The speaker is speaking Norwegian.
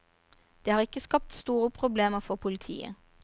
De har ikke skapt store problemer for politiet.